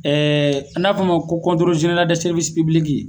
n'a bi f'ɔ o ma ko